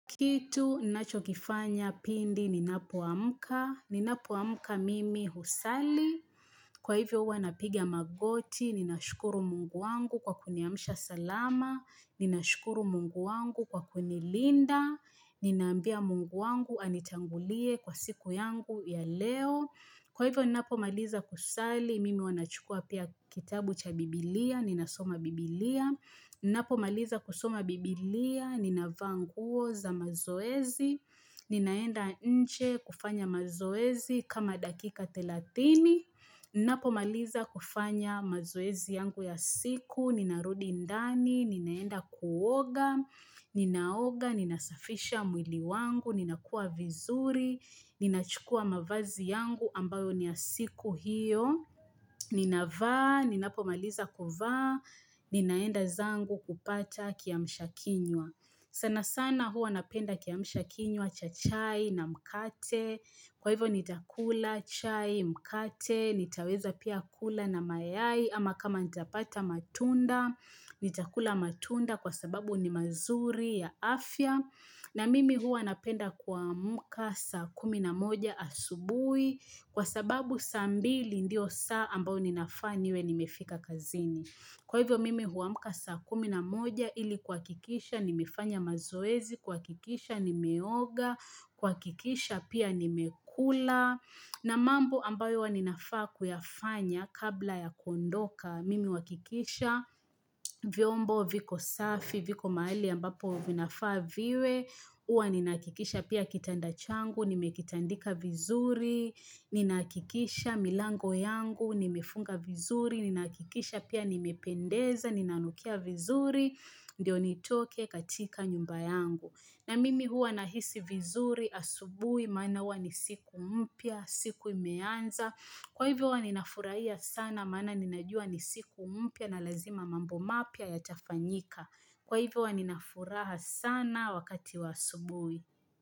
Kitu ninachokifanya pindi ninapoamka, ninapoamka mimi husali, kwa hivyo huwa napiga magoti, ninashukuru Mungu wangu kwa kuniamsha salama, ninashukuru Mungu wangu kwa kunilinda, ninaambia Mungu wangu anitangulie kwa siku yangu ya leo. Kwa hivyo ninapomaliza kusali, mimi huwa nachukuwa pia kitabu cha bibilia, ninasoma bibilia. Ninapo maliza kusoma bibilia, ninavaa nguo za mazoezi, ninaenda nje kufanya mazoezi kama dakika thelathini. Ninapo maliza kufanya mazoezi yangu ya siku, ninarudi ndani, ninaenda kuoga, ninaoga, ninasafisha mwili wangu, ninakuwa vizuri, ninachukuwa mavazi yangu ambayo ni ya siku hiyo ninavaa, ninapomaliza kuvaa, ninaenda zangu kupata kiamsha kinywa. Sana sana huwa napenda kiamsha kinywa cha chai na mkate. Kwa hivyo nitakula chai, mkate, nitaweza pia kula na mayai ama kama nitapata matunda, nitakula matunda kwa sababu ni mazuri ya afya na mimi huwa napenda kuamka saa kumi na moja asubuhi kwa sababu saa mbili ndio saa ambayo ninafaa niwe nimefika kazini. Kwa hivyo mimi huamka saa kumi na moja ili kuhakikisha nimefanya mazoezi, kuhakikisha nimeoga, kuhakikisha pia nimekula. Na mambo ambayo huwa ninafaa kuyafanya kabla ya kondoka, mimi uhakikisha, vyombo viko safi, viko mahali ambapo vinafaa viwe, huwa ninahakikisha pia kitanda changu nimekitandika vizuri, ninahakikisha milango yangu, nimefunga vizuri, ninahakikisha pia nimependeza, ninanukia vizuri, ndio nitoke katika nyumba yangu. Na mimi huwa nahisi vizuri asubuhi, maana huwa ni siku mpya, siku imeanza, kwa hivyo huwa ninafurahia sana, maana ninajua ni siku mpya na lazima mambo mapya yatafanyika, kwa hivyo huwa ninafuraha sana wakati wa asubuhii.